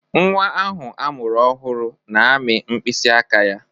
Nnwa ahụ amụrụ ọhụrụ na-amị mkpịsị aka ya.